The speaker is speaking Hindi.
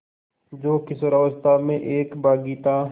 जो किशोरावस्था में एक बाग़ी था